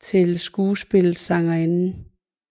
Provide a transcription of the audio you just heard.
til skuespillet Sangerinden